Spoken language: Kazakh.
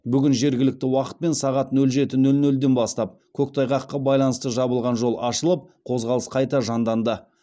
бүгін жергілікті уақытпен сағат нөл жеті нөл нөлден бастап көктайғаққа байланысты жабылған жол ашылып қозғалыс қайта жанданды